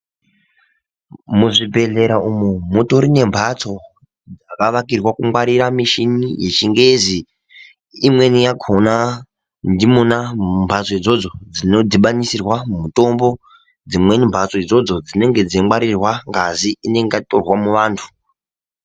Muzvibhedhlera umu, mutori nemphatso dzakavakirwa kungwarira mishini yechingezi. Imweni yakhona ndimwona mumphatso idzodzo dzinodhibanisirwa mutombo, dzimweni mhatso idzodzo dzinenge dzichingwarirwa ngazi inenga yatorwa muantu.